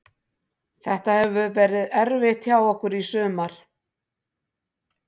Þetta hefur verið erfitt hjá okkur í sumar.